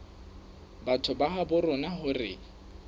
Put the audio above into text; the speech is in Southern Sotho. batho ba habo rona hore